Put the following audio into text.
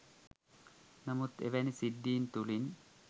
නමුත් එවැනි සිද්ධීන් තුළින්